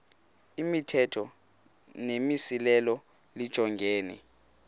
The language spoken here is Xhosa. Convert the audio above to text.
imithetho nemimiselo lijongene